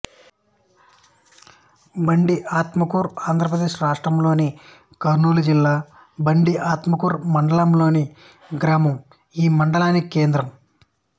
బండి ఆత్మకూరు ఆంధ్ర ప్రదేశ్ రాష్ట్రములోని కర్నూలు జిల్లా బండి ఆత్మకూరు మండలం లోని గ్రామం ఈ మండలానికి కేంద్రం